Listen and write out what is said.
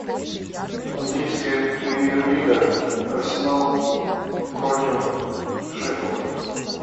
английская премьер лига арсенал против шеффилда